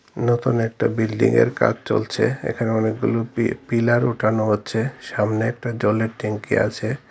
নতুন একটা বিল্ডিং এর কাজ চলছে এখানে অনেকগুলো পি পিলার উঠানো হচ্ছে সামনে একটা জলের ট্যাংকি আছে।